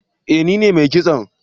Eh ni ne mai kison